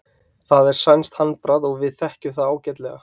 Það er sænskt handbragð og við þekkjum það ágætlega.